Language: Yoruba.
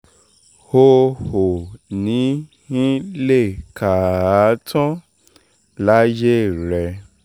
o ò ní í lè kà á tán láyé rẹ